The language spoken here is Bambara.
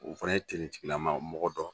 O fana ye tigilama mɔgɔ dɔ.